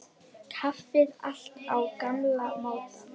Kaffið alltaf á gamla mátann.